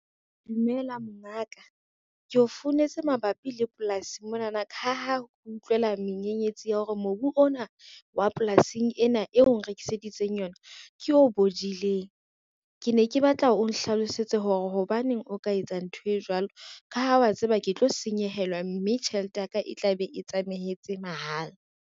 Dumela mongaka, ko founetse mabapi le polasi monana ka ha kutlwela menyenyetsi ya hore mobu ona wa polasing ena eo nrekiseditseng yona ke o bodileng. Ke ne ke batla o nhlalosetse hore hobaneng o ka etsa ntho e jwalo, ka ha wa tseba ke tlo senyehelwa mme tjhelete ya ka e tla be e tsamaetse mahala.